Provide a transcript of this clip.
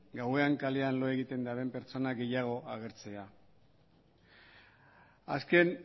gauean kalean lo egiten dauden pertsona gehiago agertzea azken